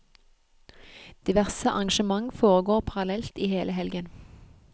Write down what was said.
Diverse arrangement foregår parallelt i hele helgen.